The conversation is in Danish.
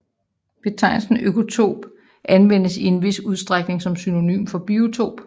Betegnelsen økotop anvendes i en vis udstrækning som synonym for biotop